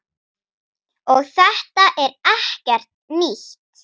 Og þetta er ekkert nýtt.